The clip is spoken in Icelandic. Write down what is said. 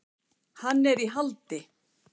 Hann er í haldi.